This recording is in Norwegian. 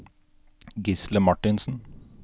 Gisle Marthinsen